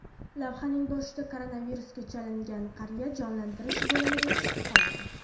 Lavhaning boshida koronavirusga chalingan qariya jonlantirish bo‘limiga tushib qoladi.